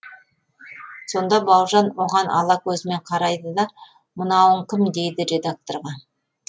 сонда бауыржан оған ала көзімен қарайды да мынауың кім дейді редакторға